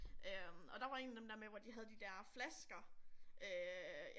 Øh og der var en af dem der med hvor de havde de der flasker øh